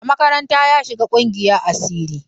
A makaranta ya shiga ƙungiyar asiri.